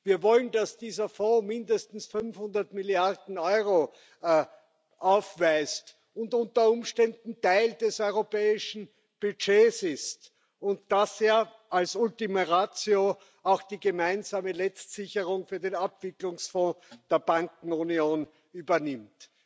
Wir wollen, dass dieser Fonds mindestens 500 Milliarden Euro aufweist und unter Umständen Teil des europäischen Budgets ist und das er als Ultima Ratio auch die gemeinsame Letztsicherung für den Abwicklungsfonds der Bankenunion übernimmt.